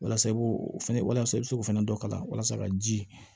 Walasa i b'o o fɛnɛ walasa i bɛ se k'o fana dɔ k'a la walasa ka ji